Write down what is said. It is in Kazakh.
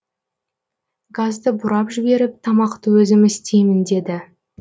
газды бұрап жіберіп тамақты өзім істеймін деді